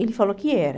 Ele falou que era.